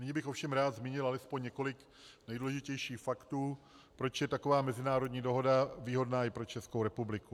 Nyní bych ovšem rád zmínil alespoň několik nejdůležitějších faktů, proč je taková mezinárodní dohoda výhodná i pro Českou republiku.